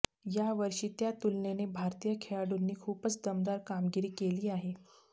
यावर्षी त्या तुलनेने भारतीय खेळाडूंनी खूपच दमदार कामगिरी केली आहे